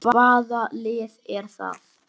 Hvaða lið er það?